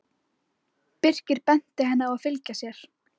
Birkir benti henni að fylgja sér.